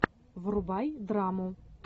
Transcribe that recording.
врубай драму